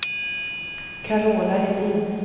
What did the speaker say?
Carola Edin